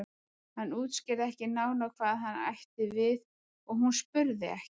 Hann útskýrði ekki nánar hvað hann átti við og hún spurði ekki.